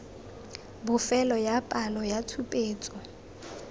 bofelo ya palo ya tshupetso